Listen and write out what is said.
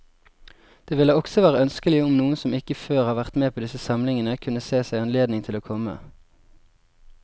Det ville også være ønskelig om noen som ikke før har vært med på disse samlingene, kunne se seg anledning til å komme.